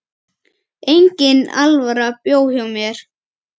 Engin alvara bjó hjá mér.